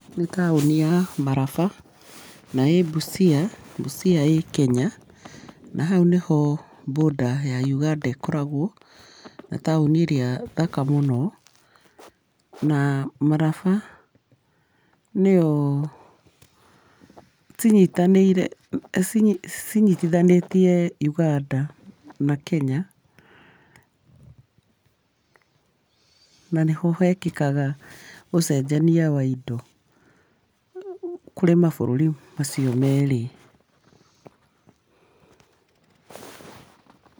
Nĩ taũni ya maraba, na ĩ Busia. Busia ĩ Kenya, na hau nĩho border ya Ũganda ĩkoragwo, na taũni ĩrĩa thaka mũno, na maraba nĩo cinyitanĩire cinyi cinyitithanĩitie ũganda na kenya na hĩho hekĩkaga ũcenjania wa indo kũrĩ mabũrũri macio merĩ.